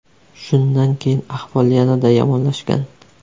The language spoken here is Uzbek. Shundan keyin ahvol yanada yomonlashgan.